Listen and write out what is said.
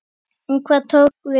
En hvað tók við?